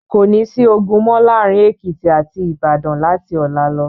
Kò ní sí ogun mọ́ láàárin Èkìtì àti Ìbàdàn láti ọ̀la lọ.